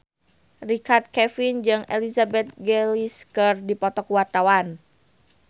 Richard Kevin jeung Elizabeth Gillies keur dipoto ku wartawan